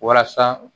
Walasa